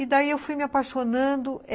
E daí eu fui me apaixonando.